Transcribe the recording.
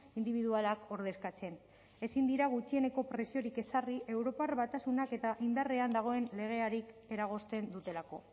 indibidualak ordezkatzen ezin dira gutxieneko preziorik ezarri europar batasunak eta indarrean dagoen legeari eragozten dutelako